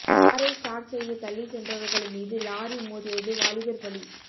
காரை ஸ்டார்ட் செய்ய தள்ளி சென்றவர்கள் மீது லாரி மோதியது வாலிபர் பலி